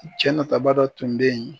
Cɛ nataba dɔ tun bɛ yen